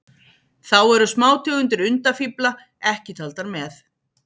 Þá eru smátegundir undafífla ekki taldar með.